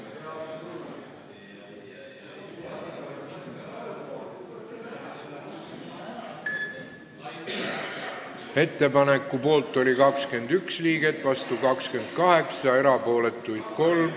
Hääletustulemused Ettepaneku poolt oli 21 liiget, vastu 28, erapooletuid 3.